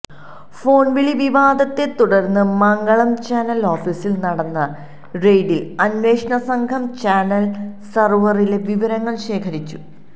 phone വിളി വിവാദത്തെ തുടർന്ന മംഗളം ചാനൽ ഓഫീസിൽ നടന്ന റെയ്ഡിൽ അന്വേഷണ സംഘം ചാനൽ സർവറിലെ വിവരങ്ങൾ ശേഖരിച്ചു